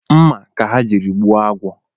Mma ka ha jiri gbuo agwọ